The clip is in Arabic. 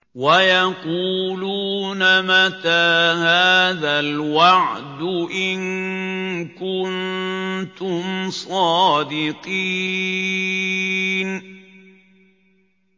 وَيَقُولُونَ مَتَىٰ هَٰذَا الْوَعْدُ إِن كُنتُمْ صَادِقِينَ